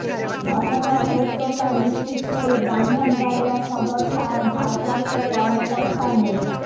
ঘটনার সত্যতা নিশ্চিত করে ব্রাহ্মণবাড়িয়া সদর থানার ভারপ্রাপ্ত কর্মকর্তা মো